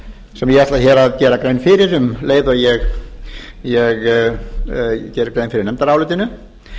sem ég ætla hér að gera grein fyrir um leið og ég geri grein fyrir nefndarálitinu